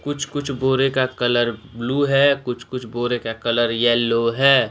कुछ कुछ बोरे का कलर ब्लू है कुछ कुछ बोरे का कलर येलो है।